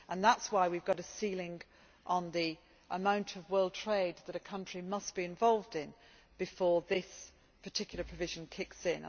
That is why we have a ceiling on the amount of world trade that a country must be involved in before this particular provision kicks